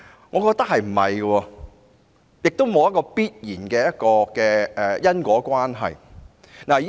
我認為不會，兩者亦沒有必然的因果關係。